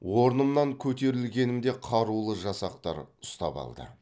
орнымнан көтерілгенімде қарулы жасақтар ұстап алды